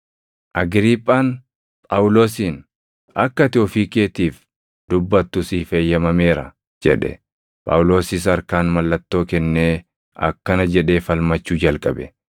Agriiphaan Phaawulosiin, “Akka ati ofii keetiif dubbattu siif eeyyamameera” jedhe. Phaawulosis harkaan mallattoo kennee akkana jedhee falmachuu jalqabe;